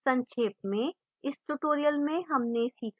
सक्षेप में